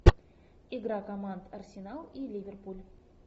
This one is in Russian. игра команд арсенал и ливерпуль